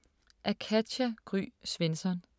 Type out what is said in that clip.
Af Katja Gry Svensson